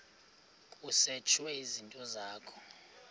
kusetshwe izinto zakho